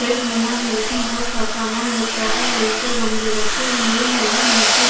rack बना है जिसमें बहुत सारा सा सामान दिख रहा है ऊपर गमले रखे हुए हैं और नीचे--